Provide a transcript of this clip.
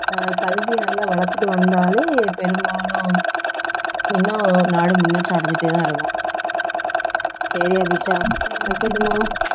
அஹ் கல்வியை நல்லா வளர்த்துட்டு வந்தாலே பெரும்பாலும் இன்னும் நாடு முன்னேற்றம் அடைஞ்சிட்டேதான் இருக்கும் சரி அபிஷியா வைக்கட்டுமா